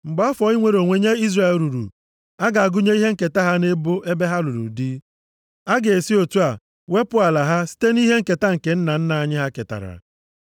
Mgbe afọ inwere onwe nye Izrel ruru, a ga-agụnye ihe nketa ha nʼebo ebe ha lụrụ dị. A ga-esi otu a wepụ ala ha site nʼihe nketa nke nna nna anyị ha ketara.”